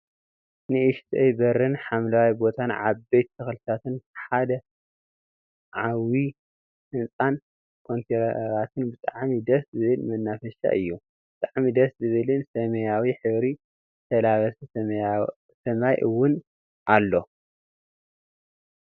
ንእሽተይ በርን ሓምለዋይ ቦታን ዓበይቲ ተክልታት ሐደ ዓቡይ ህንፃን ኮንቲነራትን ብጣዕሚ ደስ ዝብል መናፈሻ እዩ። ብጣዕሚ ደስ ዝብልን ሰመያዊ ሕብሪ ዝተላበሰ ሰማይ እውን ኣሎ።